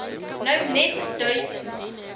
nou net duisend